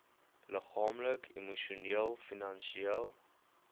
liggaamlik emosioneel finansieel